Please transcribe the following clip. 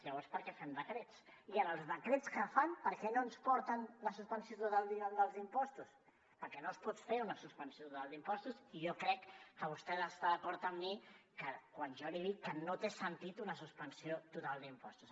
llavors per què fem decrets i en els decrets que fan per què no ens porten la suspensió total dels impostos perquè no es pot fer una suspensió total d’impostos i jo crec que vostè ha d’estar d’acord amb mi quan jo li dic que no té sentit una suspensió total d’impostos